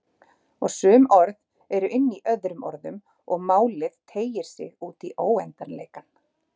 Og sum orð eru inní öðrum orðum og málið teygir sig útí óendanleikann.